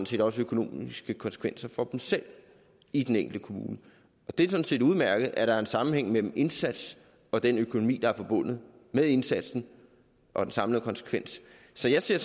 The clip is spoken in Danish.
set også har økonomiske konsekvenser for dem selv i den enkelte kommune det er sådan set udmærket at der er en sammenhæng mellem indsatsen og den økonomi der er forbundet med indsatsen og den samlede konsekvens så jeg ser